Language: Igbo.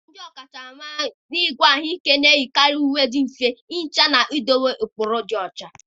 ndị ọkachamara n'ịgwọ ahụike na-eyikarị uwe ndị dị mfe ihicha na idobe ụkpụrụ ịdị ọcha.